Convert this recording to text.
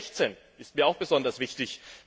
Ziffer 16 ist mir auch besonders wichtig.